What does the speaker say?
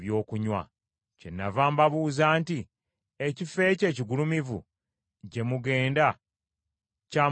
Kyenava mbabuuza nti, Ekifo ekyo ekigulumivu gye mugenda kya mugaso ki?’ ”